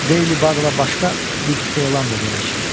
Daily Bugle başqa bir elan da verək.